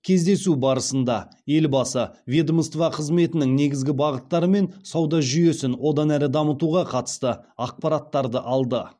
кездесу барысында елбасы ведомство қызметінің негізгі бағыттары мен сауда жүйесін одан әрі дамытуға қатысты ақпараттарды алды